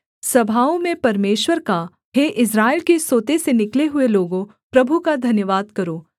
सभाओं में परमेश्वर का हे इस्राएल के सोते से निकले हुए लोगों प्रभु का धन्यवाद करो